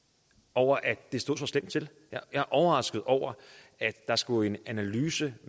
over at det står så slemt til jeg er overrasket over at der skulle en analyse